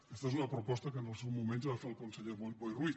aquesta és una proposa que en el seu moment ja va fer el conseller boi ruiz